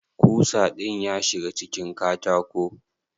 Kusa din ya shiga cikin katako?